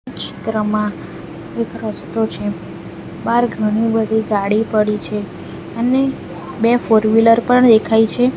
ચિત્રમાં એક રસ્તો છે બાહર ઘણી બધી ગાડી પડી છે અને બે ફોરવીલર પણ દેખાય છે.